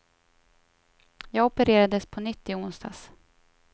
Jag opererades på nytt i onsdags.